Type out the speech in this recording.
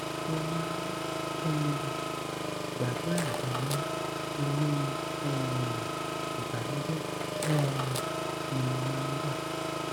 mo máa ń um gbàdúrà ganan mọ inú um ìbànújẹ um ni mo máa ń wà